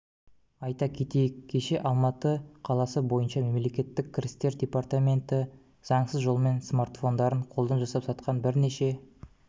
айта кетейік кеше алматы қаласы бойынша мемлекеттік кірістер департаменті заңсыз жолмен смартфондарын қолдан жасап сатқан бірнеше